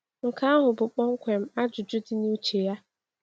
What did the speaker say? Nke ahụ bụ kpọmkwem ajụjụ dị na uche ya.